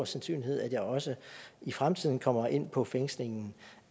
sandsynligt at jeg også i fremtiden kommer ind på fængslingen